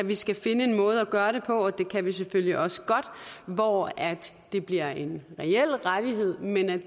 vi skal finde en måde at gøre det på og det kan vi selvfølgelig også godt hvor det bliver en reel rettighed men